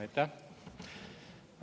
Aitäh!